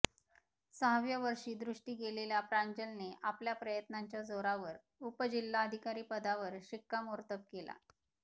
सहाव्या वर्षी दृष्टी गेलेल्या प्रांजलने आपल्या प्रयत्नांच्या जोरावर उपजिल्हाधिकारी पदावर शिक्कामोर्तब केला